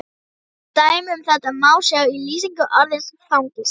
Dæmi um þetta má sjá í lýsingu orðsins fangelsi: